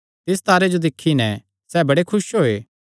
तिस तारे जो दिक्खी नैं सैह़ बड़े खुस होये